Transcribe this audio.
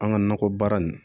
An ka nakɔ baara nin